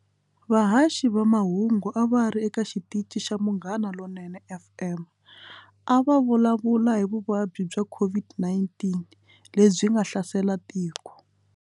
Vahashi va mahungu a va ri eka xitichi xa Munghana lonene F_M a va vulavula hi vuvabyi bya COVID-19 lebyi nga hlasela tiko.